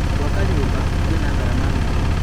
Gwaka nyũmba nĩ ngarama nene